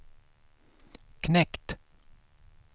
knekt